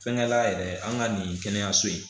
Fɛnkɛ la yɛrɛ an ka nin kɛnɛyaso in